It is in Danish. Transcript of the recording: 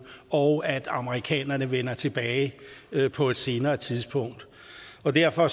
og at amerikanerne vender tilbage på et senere tidspunkt og derfor